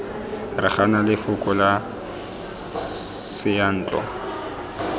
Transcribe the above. re gana lefoko la seyantlo